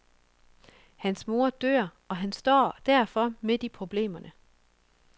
Hans mor dør, og han står derfor midt i problemerne.